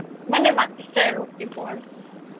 মানে মাতিছে আৰু দিব আৰু